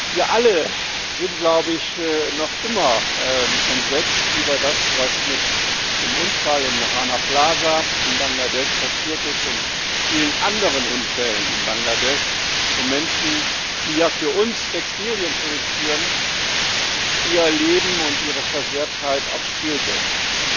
Wir alle sind noch immer entsetzt über das, was bei dem Unfall in Rana Plaza in Bangladesch passiert ist, und vielen anderen Unfällen in Bangladesch, wo Menschen, die ja für uns Textilien produzieren, ihr Leben und ihre Unversehrtheit aufs Spiel setzen.